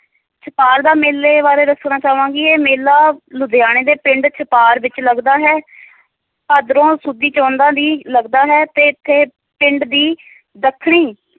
ਛਪਾਰ ਦਾ ਮੇਲੇ ਬਾਰੇ ਦੱਸਣਾ ਚਾਹਾਂਗੀ, ਇਹ ਮੇਲਾ ਲੁਧਿਆਣੇ ਦੇ ਪਿੰਡ ਛਪਾਰ ਵਿੱਚ ਲੱਗਦਾ ਹੈ ਭਾਦਰੋਂ ਸੁਦੀ ਚੌਦਾਂ ਦੀ ਲਗਦਾ ਹੈ ਤੇ ਇੱਥੇ ਪਿੰਡ ਦੀ ਦੱਖਣੀ